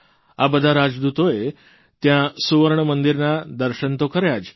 આ બધા રાજદૂતોએ ત્યાં સુવર્ણમંદિરના દર્શન તો કર્યા જ